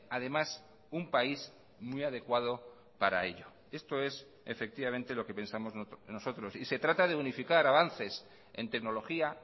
además un país muy adecuado para ello esto es efectivamente lo que pensamos nosotros y se trata de unificar avances en tecnología